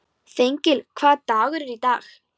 Þengill, hvaða dagur er í dag?